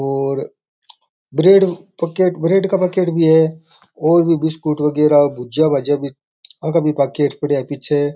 और ब्रेड का पैकेट भी है और भी बिस्कुट वगेरा भुजिया भजिया भी आँका भी पैकेट पड़े है पीछे --